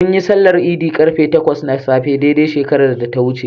Munyi sallar Idi ƙarfe takwas na safe dai dai shekarar da ta wuce.